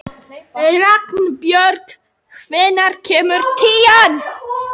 Ragnbjörg, hvenær kemur tían?